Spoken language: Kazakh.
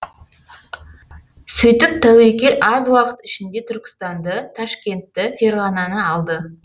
сөйтіп тәуекел аз уақыт ішінде түркістанды ташкентті ферғананы алды